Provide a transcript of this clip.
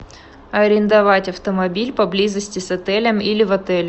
арендовать автомобиль поблизости с отелем или в отеле